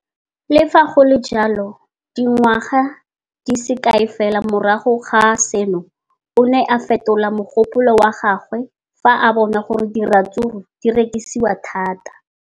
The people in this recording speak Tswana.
Le fa go le jalo, dingwaga di se kae fela morago ga seno, o ne a fetola mogopolo wa gagwe fa a bona gore diratsuru di rekisiwa thata.